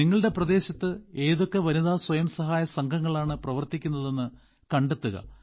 നിങ്ങളുടെ പ്രദേശത്ത് ഏതൊക്കെ വനിതാ സ്വയം സഹായ സംഘങ്ങളാണ് പ്രവർത്തിക്കുന്നതെന്ന് കണ്ടെത്തുക